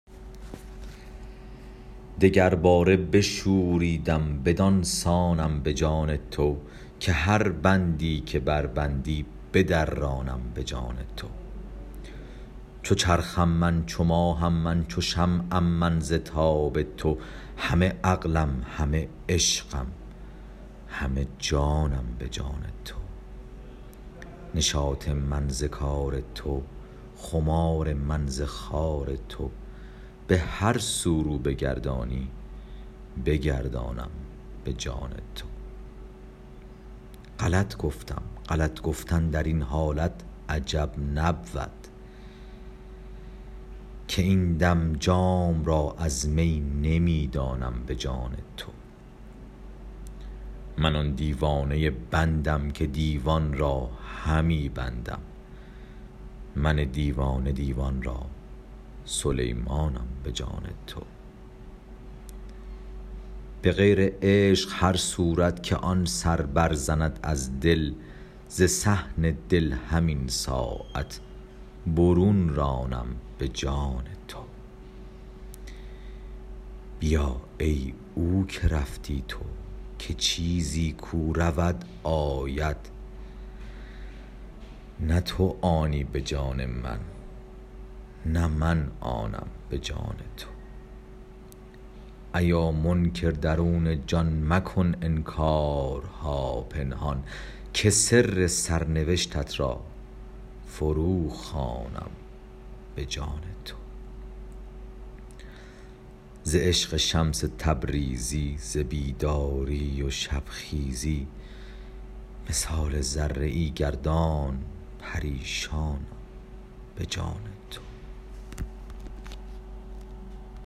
دگرباره بشوریدم بدان سانم به جان تو که هر بندی که بربندی بدرانم به جان تو چو چرخم من چو ماهم من چو شمعم من ز تاب تو همه عقلم همه عشقم همه جانم به جان تو نشاط من ز کار تو خمار من ز خار تو به هر سو رو بگردانی بگردانم به جان تو غلط گفتم غلط گفتن در این حالت عجب نبود که این دم جام را از می نمی دانم به جان تو من آن دیوانه بندم که دیوان را همی بندم من دیوانه دیوان را سلیمانم به جان تو به غیر عشق هر صورت که آن سر برزند از دل ز صحن دل همین ساعت برون رانم به جان تو بیا ای او که رفتی تو که چیزی کو رود آید نه تو آنی به جان من نه من آنم به جان تو ایا منکر درون جان مکن انکارها پنهان که سر سرنوشتت را فروخوانم به جان تو ز عشق شمس تبریزی ز بیداری و شبخیزی مثال ذره ای گردان پریشانم به جان تو